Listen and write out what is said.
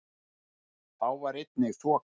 Þá var einnig þoka